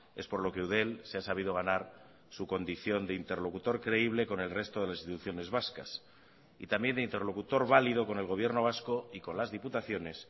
es por lo que eudel se ha sabido ganar su condición de interlocutor creíble con el resto de las instituciones vascas y también de interlocutor válido con el gobierno vasco y con las diputaciones